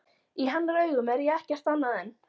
Í hennar augum er ég ekkert annað en.